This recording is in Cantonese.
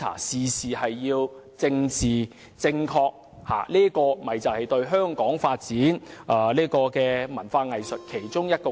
事事講求政治正確，便是對香港發展文化藝術的障礙之一。